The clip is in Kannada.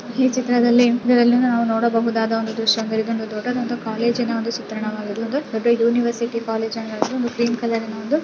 ಈ ಚಿತ್ರದಲ್ಲಿ ಇದರಲ್ಲಿ ನೋಡಬಹುದಾದ ಒಂದು ದೃಶ್ಯ ಇದೊಂದು ದೊಡ್ಡದಾದ ಕಾಲೇಜಿನ ಒಂದು ಚಿತ್ರಣವಾಗಿದೆ ಇದು ದೊಡ್ಡ ಯೂನಿವರ್ಸಿಟೀ ಕಾಲೇಜು ಅಂಗಳದ ಒಂದು ಗ್ರೀನ್ ಕಲರಿನ ಒಂದು --